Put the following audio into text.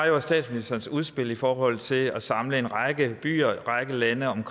i år var statsministerens udspil i forhold til at samle en række byer og lande om